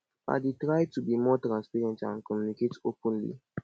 i i dey try to be more transparent and communicate openly